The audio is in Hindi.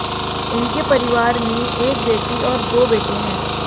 उनके परिवार में एक बेटी और दो बेटे हैं